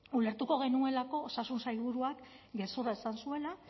ulertuko genuelako osasun sailburuak gezurra esan zuela